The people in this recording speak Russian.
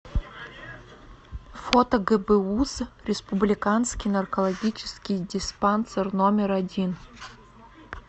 фото гбуз республиканский наркологический диспансер номер один